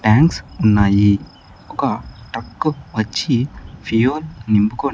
Tanks ఉన్నాయి ఒక truck వచ్చి ఫ్యూయల్ నింపుకొని.